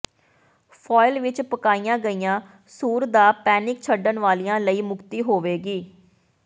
foil ਵਿਚ ਪਕਾਈਆਂ ਗਈਆਂ ਸੂਰ ਦਾ ਪੈਨਿਕ ਛੱਡਣ ਵਾਲਿਆਂ ਲਈ ਮੁਕਤੀ ਹੋਵੇਗੀ